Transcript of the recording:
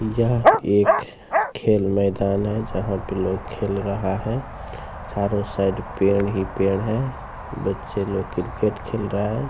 यह एक खेल मैदान है जहाँ पे लोग खेल रहा है। चारों साइड पेड़ ही पेड़ हैं । बच्चे लोग क्रिकेट खेल रहा है ।